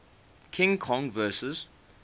king kong vs